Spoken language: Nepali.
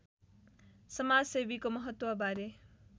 समाजसेवीको महत्त्वबारे